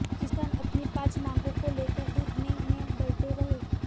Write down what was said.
किसान अपनी पांच मांगों को लेकर धरने में बैठे रहे